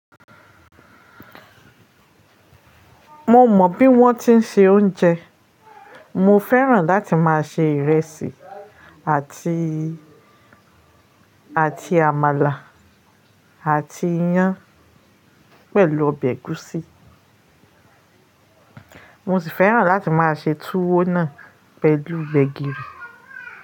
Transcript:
Mo mọ̀ bí wọ́n ti ń ṣe oúnjẹ. Mo fẹ́ràn láti máa se ìrẹsì àti, àti àmàlà àti iyán pẹ̀lú ọbẹ̀ ẹ̀gúsí. Mo sì fẹ́ràn láti máa se tuwo náà pẹ̀lú gbẹ̀gìrì.